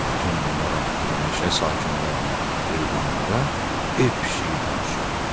Bütün bunlar haqqında meşə sakinlərinə, heyvanlara ev pişiyi danışırdı.